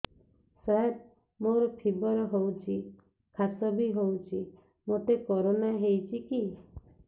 ସାର ମୋର ଫିବର ହଉଚି ଖାସ ବି ହଉଚି ମୋତେ କରୋନା ହେଇଚି କି